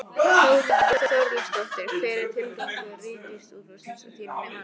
Þórhildur Þorkelsdóttir: Hver er tilgangur Ríkisútvarpsins að þínu mati?